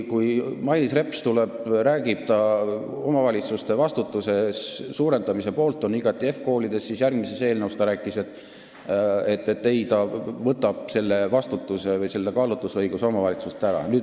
Kui Mailis Reps tuleb ja räägib, et ta on igati omavalitsuste vastutuse suurendamise poolt HEV-koolides, siis järgmise eelnõuga seoses räägib, et ei, ta võtab selle vastutuse või kaalutlusõiguse omavalitsustelt ära.